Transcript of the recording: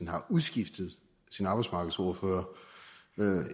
har udskiftet sin arbejdsmarkedsordfører